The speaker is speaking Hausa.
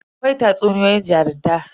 Akwai tatsuniyoyin jarunta.